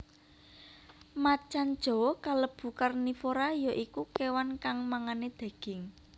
Macan jawa kalebu karnivora ya iku kéwan kang mangané daging